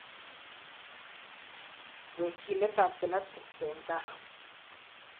wekyinet ab genetics en kaa